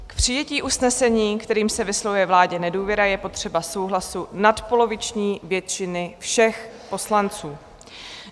K přijetí usnesení, kterým se vyslovuje vládě nedůvěra, je potřeba souhlasu nadpoloviční většiny všech poslanců.